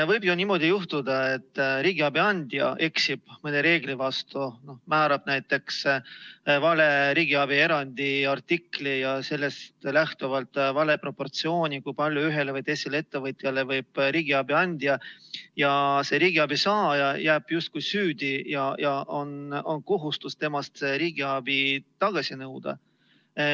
Võib ju juhtuda niimoodi, et riigiabi andja eksib mõne reegli vastu, määrab näiteks vale riigiabi erandi artikli ja sellest lähtuvalt vale proportsiooni, kui palju ühele või teisele ettevõtjale võib riigiabi anda, ja see riigiabi saaja jääb justkui süüdi ja on kohustus temalt riigiabi tagasi nõuda.